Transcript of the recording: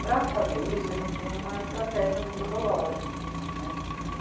Para fazer isso a gente tem uma estratégia metodológica, né.